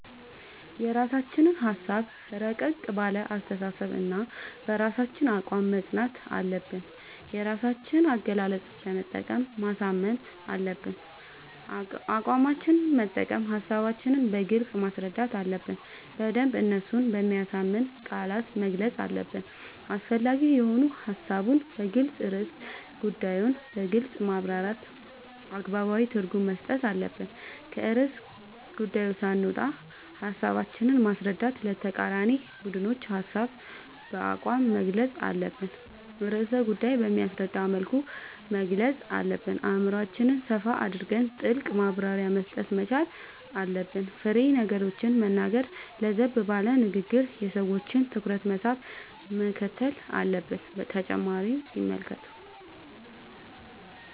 የራስችን ሀሳብ እረቀቅ ባለ አስተሳሰብ በራሳችን አቋም መፅናት አለብን የራሳችን አገላለፅ በመጠቀም ማሳመን አለብን አቋማችን መጠቀም ሀሳባችን በግልጽ ማስረዳት አለብን በደንብ እነሱን በሚያሳምን ቃላት መግለፅ አለብን አስፈላጊ የሆኑ ሀሳቡን በሚገልፅን ርዕሰ ጉዳዮን በግልፅ ማብራራት አገባባዊ ትርጉም መስጠት አለብን። ከርዕሰ ጉዳዪ ሳንወጣ ሀሳባችን ማስረዳት ለተቃራኒ ቡድኖች ሀሳባችን በአቋም መግልፅ አለብን ርዕሰ ጉዳይ በሚያስረዳ መልኩ መግለፅ አለብን አእምሮአችን ሰፋ አድርገን ጥልቅ ማብራሪያ መስጠት መቻል አለብን። ፋሬ ነገሮችን መናገር ለዘብ ባለ ንግግር የሰዎችን ትኩረት መሳብ ምክትል አለብን።…ተጨማሪ ይመልከቱ